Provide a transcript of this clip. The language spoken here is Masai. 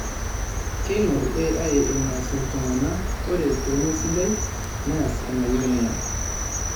Keingor AI enaas iltungana ore peemesidai neas enayieu ninye.